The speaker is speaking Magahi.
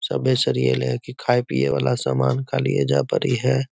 सभी शरीर ले के खाय पीए वाला सामान सब एजा पर हेय।